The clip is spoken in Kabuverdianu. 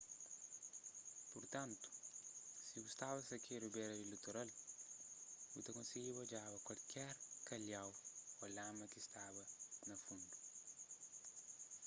purtantu si bu staba sakedu bera di litoral bu ta konsigiba odjaba kualker kalhau ô lama ki staba na fundu